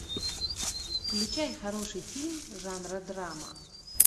включай хороший фильм жанра драма